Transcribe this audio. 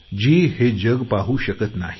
जी हे जग पाहू शकत नाही